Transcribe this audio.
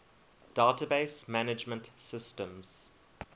database management systems